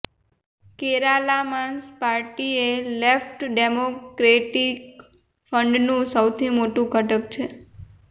કેરાલામાંસ પાર્ટીએ left democratic ફ્રંટનું સૌથી મોટું ઘટક છે